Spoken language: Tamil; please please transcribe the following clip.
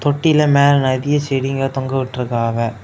தொட்டில மேல நறிய செடிங்க தொங்க விட்டுருக்காவ.